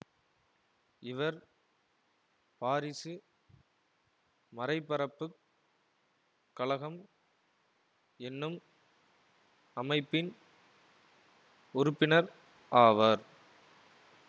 இவர் பாரிசு மறைபரப்புக் கழகம் என்னும் அமைப்பின் உறுப்பினர் ஆவர்